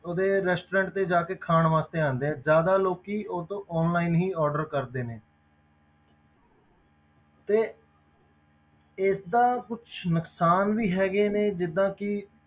ਉਹਦੇ restaurant ਤੇ ਜਾ ਕੇ ਖਾਣ ਵਾਸਤੇ ਆਉਂਦੇ ਹੈ ਜ਼ਿਆਦਾ ਲੋਕੀ ਉਹ ਤੋਂ online ਹੀ order ਕਰਦੇ ਨੇ ਤੇ ਇਸਦਾ ਕੁਛ ਨੁਕਸਾਨ ਵੀ ਹੈਗੇ ਨੇ ਜਿੱਦਾਂ ਕਿ